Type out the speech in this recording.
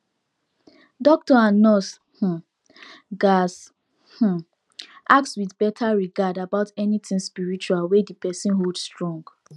doctor and nurse um gatz um ask with better regard about anything spiritual wey the person hold strong